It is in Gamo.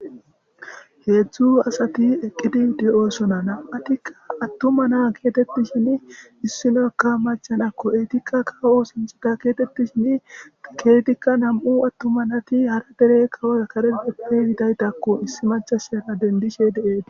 Heedzdzu asati eqqidi de oosona nam7atikka attuma naa geetettishin issinokka maca nakko etikka kawo ossanchatha getettishinn ethika nam7u attuma nati hara dere kawoz kareppe yidagethakko issi machashara dendishe deethes.